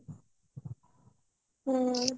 ହ୍ମ